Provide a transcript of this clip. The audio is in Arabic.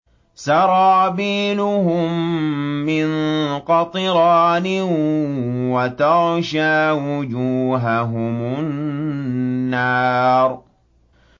سَرَابِيلُهُم مِّن قَطِرَانٍ وَتَغْشَىٰ وُجُوهَهُمُ النَّارُ